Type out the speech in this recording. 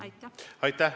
Aitäh!